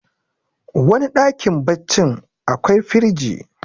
wani dakm baccin akwai firji